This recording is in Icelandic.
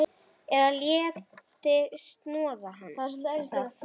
Eða léti snoða það.